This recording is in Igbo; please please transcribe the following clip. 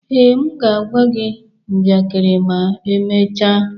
Ee, m ga-agwa gị njakịrị ma emechaa.